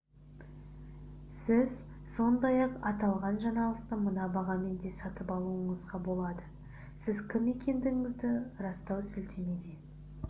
сіз сондай-ақ аталған жаңалықты мына бағамен де сатып алуыңызға болады сіз кім екендігіңізді растау сілтемесіне